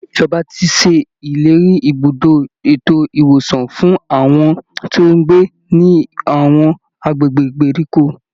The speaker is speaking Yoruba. Ìjọba ti ṣèlérí ibùdó ètò ìwòsàn fún àwọn tó ń gbé ní àwọn agbègbè ìgbèríko